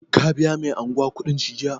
Ka biya mai anguwa kuɗin shi jiya?